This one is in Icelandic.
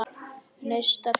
Neistar fljúga.